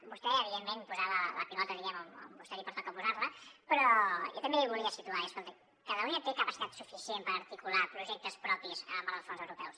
vostè evidentment posava la pilota diguem ne on vostè li pertoca posar la però jo també volia situar escolti catalunya té capacitat suficient per articular projectes propis en el marc dels fons europeus